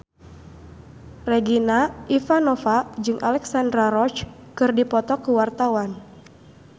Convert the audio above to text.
Regina Ivanova jeung Alexandra Roach keur dipoto ku wartawan